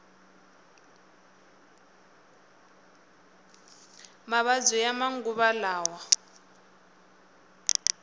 mavabyi ya manguva lawa